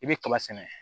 I bɛ kaba sɛnɛ